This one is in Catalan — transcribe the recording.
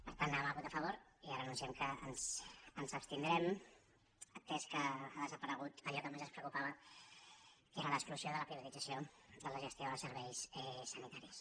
per tant hi anàvem a votar a favor i ara anunciem que ens abstindrem atès que ha desaparegut allò que més ens preocupava que era l’exclusió de la privatització de la gestió dels serveis sanitaris